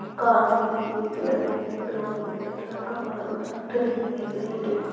car दिख रही है पेड़ दिख रहे है ग्राउंड दिख रहे है एक लडका खड़ा दिख रहा है खिडकी दिख रही है गेट --